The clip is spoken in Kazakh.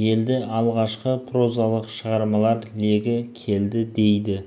келді алғашқы прозалық шығармалар легі келді дейді